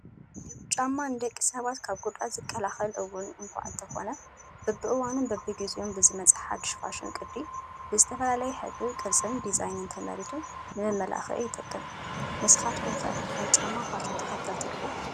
ጫማ፡- ንደቂ ሰባት ካብ ጉድኣት ዝከላኸል እውን እኳ እንተኾነ በበእኑን በቢጊዜኡን ብዝመፅእ ሓዱሽ ፋሽን ቅዲ ብዝተፈላለየ ሕብሪ፣ ቅርፂን ዲዛይንን ተመሪቱ ንመመላኽዒ ይጠቅም ፡፡ ንስኻትኩ ከ ናይ ጫማ ፋሽን ተኸልቲ ዲኹም?